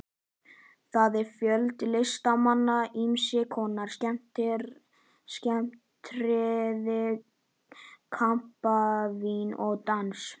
Þar er fjöldi listamanna, ýmiss konar skemmtiatriði, kampavín og dans.